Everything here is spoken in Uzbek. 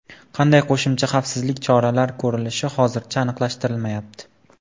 Qanday qo‘shimcha xavfsizlik choralar ko‘rilishi hozircha aniqlashtirilmayapti.